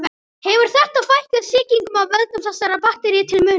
Hefur þetta fækkað sýkingum af völdum þessara baktería til muna.